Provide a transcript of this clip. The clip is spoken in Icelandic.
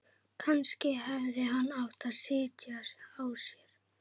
Kannski hefði hann átt að sitja á sér.